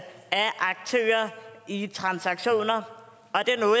af aktører i transaktioner